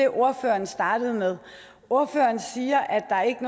ordfører startede med ordføreren siger at der ikke